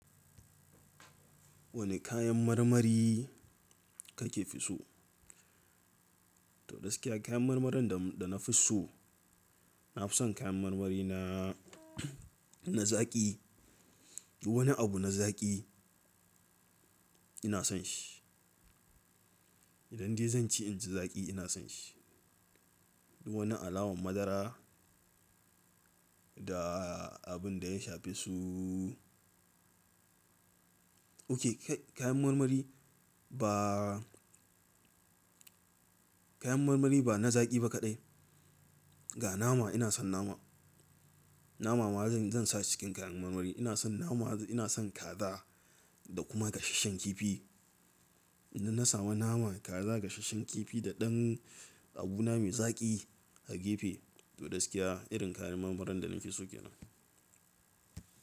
Wane kayan marmari kake fi so? To gaskiya kayan marmarin da, da nafi so, na fi son kayan marmari na, na zaƙi. Duk wani abu na zaƙi ina son shi. Idan dai zanci inji zaƙi ina son shi. Duk wani alawan madara da abun da ya shafe su Okay kai kayan marmari, ba kayan marmari ba na zaƙi ba kaɗai. Ga nama ina son nama. Nama ma zan sa cikin kayan marmari. Ina son nama, ina son kaza da kuma gashasshen kifi. Idan na samu nama, kaza, gashasshen kifi da ɗan abuna mai zaƙi a gefe to gaskiya irin kayan marmarin da nafi so ke nan.